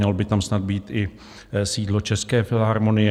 Mělo by tam snad být i sídlo České filharmonie.